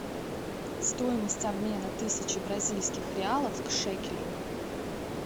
стоимость обмена тысячи бразильских реалов к шекелю